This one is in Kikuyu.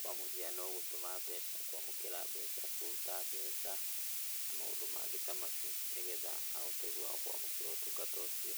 Kwa mũhiano gũtũma mbeca, kũamũkĩra mbeca, kũruta mbeca na maũndũ magĩ ta macio. Nĩ getha ahote kũamũkĩra ũtungata ũcio.